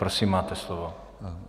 Prosím máte slovo.